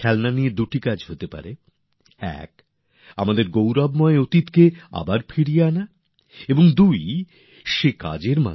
খেলনা নিয়ে আমরা দুটো কাজ করতে পারি নিজেদের গৌরবময় অতীতকে নিজেদের জীবনে আবার নিয়ে আসতে পারি